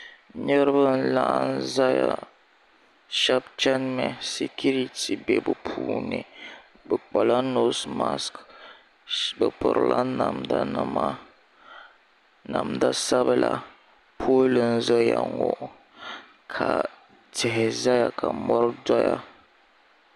niriba n laɣim zaya shaba chanimi sikiriti be bɛ puuni bɛ kpala noosi masiki bɛ pirila namdanima namdasabila pooli n zaya ŋɔ ka tihi zaya ka mɔri doya